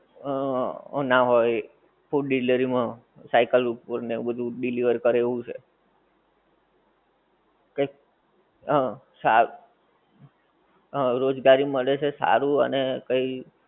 આહ ના હોએ એ food delivery માં cycle ઉપર ને એવું બધું deliver કરે એવું છે કે એક સ હા રોજગારી મળે છે એટલે સારું અને કઈ